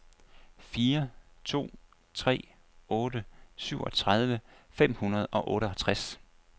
fire to tre otte syvogtredive fem hundrede og otteoghalvtreds